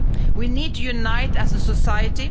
We need to unite as a society.